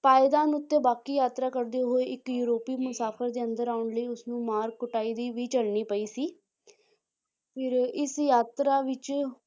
ਪਾਇਦਾਨ ਉੱਤੇ ਬਾਕੀ ਯਾਤਰਾ ਕਰਦੇ ਹੋਏ ਇੱਕ ਯੂਰੋਪੀ ਮੁਸਾਫ਼ਿਰ ਦੇ ਅੰਦਰ ਆਉਣ ਲਈ ਉਸਨੂੰ ਮਾਰ ਕੁਟਾਈ ਵੀ, ਵੀ ਝੱਲਣੀ ਪਈ ਸੀ ਫਿਰ ਇਸ ਯਾਤਰਾ ਵਿੱਚ